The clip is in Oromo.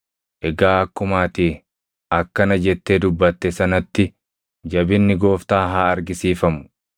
“Egaa akkuma ati akkana jettee dubbatte sanatti jabinni Gooftaa haa argisiifamu: